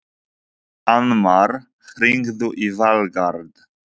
Annmar, hringdu í Valgarð.